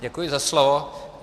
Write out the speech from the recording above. Děkuji za slovo.